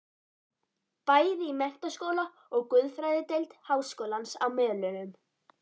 Bæði í menntaskóla og guðfræðideild háskólans á Melunum.